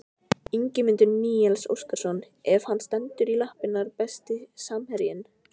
Ingimundur Níels Óskarsson ef hann stendur í lappirnar Besti samherjinn?